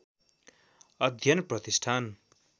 अध्ययन प्रतिष्ठान